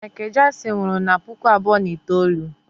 Michael Jackson nwụrụ na puku abụọ na itoolu